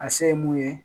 A se ye mun ye